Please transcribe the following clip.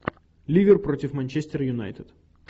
ливер против манчестер юнайтед